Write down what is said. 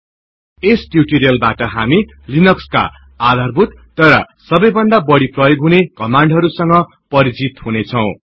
यो टियुटोरियल मा हामी आफुलाई केहि सामान्य तर धेरै प्रयोग गरिने लिनक्स का कमाण्डस् संग परिचित गरौनेछौँ ्